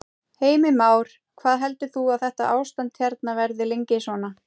Heimir Már: Hvað heldur þú að þetta ástand hérna verði lengi svona?